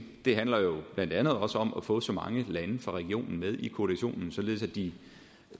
det handler jo blandt andet også om at få så mange lande fra regionen med i koalitionen så de